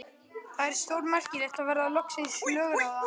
Það er stórmerkilegt að verða loksins lögráða.